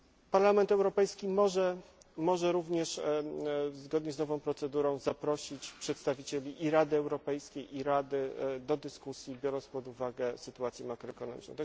w procesie. Parlament Europejski może również zgodnie z nową procedurą zaprosić przedstawicieli i Rady Europejskiej, i Rady do dyskusji, biorąc pod uwagę sytuację makroekonomiczną.